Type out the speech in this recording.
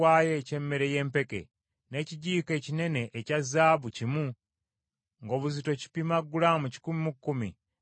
n’ekijiiko ekinene ekya zaabu kimu, ng’obuzito kipima gulaamu kikumi mu kkumi, nga kijjudde ebyakaloosa;